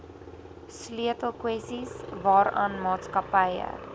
sleutelkwessies waaraan maatskappye